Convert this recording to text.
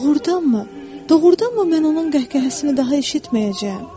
Doğrudanmı, doğrudanmı mən onun qəhqəhəsini daha eşitməyəcəyəm?